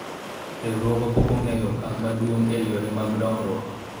riwruogwa pok ogoyo okang' maduong' e yore mag dongruok